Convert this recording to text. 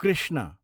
Krishna